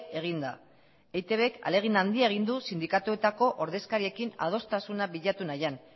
egin da eitbk ahalegin handia egin du sindikatuetako ordezkariekin adostasuna bilatu nahian